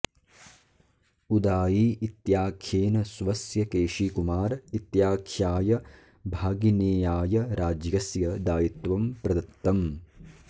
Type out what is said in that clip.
उदाई इत्याख्येन स्वस्य केशीकुमार इत्याख्याय भागिनेयाय राज्यस्य दायित्वं प्रदत्तम्